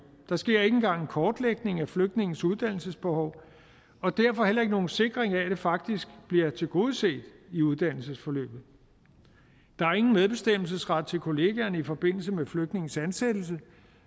der sker ikke engang en kortlægning af flygtninges uddannelsesbehov og derfor heller ikke nogen sikring af at det faktisk bliver tilgodeset i uddannelsesforløbet der er ingen medbestemmelsesret til kollegaerne i forbindelse med flygtninges ansættelse